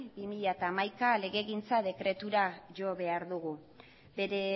barra bi mila hamaika legegintza dekretura jo behar dugu bere